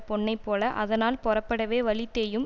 பொன்னை போல அதனால் பொரப்படவே வலி தேயும்